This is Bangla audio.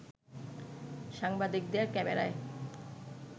সাংবাদিকদের ক্যামেরায়